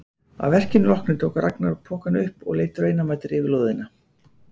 Að verkinu loknu tók Ragnar pokann upp og leit raunamæddur yfir lóðina.